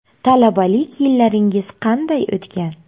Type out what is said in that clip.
Talabalik yillaringiz qanday o‘tgan?